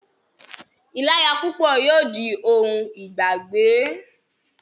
ìláya púpọ̀ yóò di ohun ìgbàgbé.